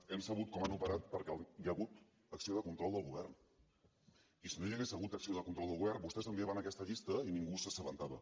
hem sabut com han operat perquè hi ha hagut acció de control del govern i si no hi hagués hagut acció de control del govern vostès enviaven aquesta llista i ningú se n’assabentava